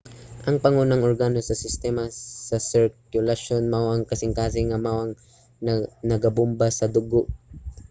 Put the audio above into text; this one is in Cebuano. ang pangunang organo sa sistema sa sirkulasyon mao ang kasingkasing nga mao ang nagabomba sa dugo